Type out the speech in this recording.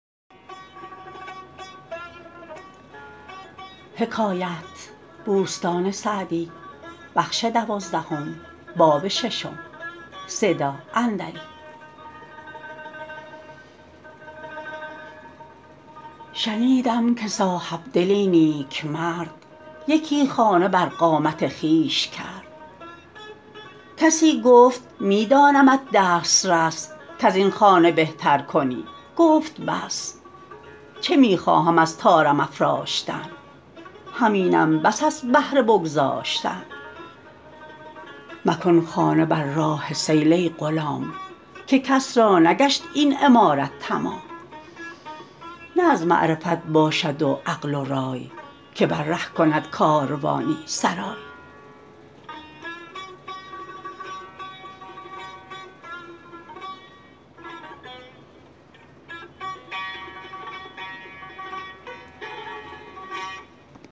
شنیدم که صاحبدلی نیکمرد یکی خانه بر قامت خویش کرد کسی گفت می دانمت دسترس کز این خانه بهتر کنی گفت بس چه می خواهم از طارم افراشتن همینم بس از بهر بگذاشتن مکن خانه بر راه سیل ای غلام که کس را نگشت این عمارت تمام نه از معرفت باشد و عقل و رای که بر ره کند کاروانی سرای